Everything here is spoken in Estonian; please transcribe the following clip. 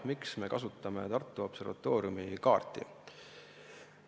Miks me kasutame Tartu Observatooriumi kaarti?